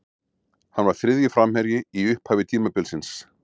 Hann var þriðji framherji í upphafi tímabilsins.